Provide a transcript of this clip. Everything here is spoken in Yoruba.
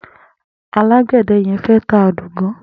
Àlágbẹ̀dẹ̀ yẹ̀n fẹ̀ tá àdógàn